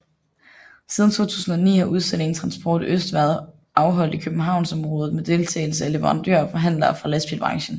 Siden 2009 har udstillingen Transport Øst været afholdt i københavnsområdet med deltagelse af leverandører og forhandlere fra lastbilbranchen